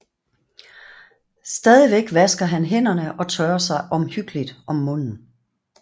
Stadigvæk vasker han hænderne og tørrer sig omhyggeligt om munden